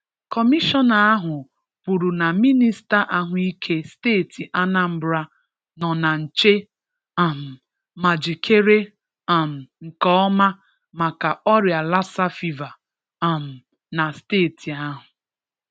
Kọmịshọna ahụ kwuru na Mịnịsta Ahụike steeti Anambra nọ na-nche um ma jikere um nke ọma maka ọria Lassa fever um na steeti ahụ.